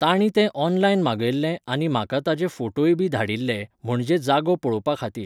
तांणी तें ऑनलायन मागयल्लें आनी म्हाका ताजे फोटोय बी धाडिल्ले, म्हणजे जागो पळोवपा खातीर.